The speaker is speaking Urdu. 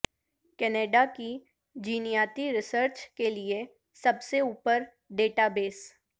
کینیڈا کے جینیاتی ریسرچ کے لئے سب سے اوپر ڈیٹا بیس